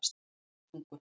Leirvogstungu